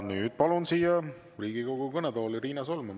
Nüüd palun Riigikogu kõnetooli Riina Solmani.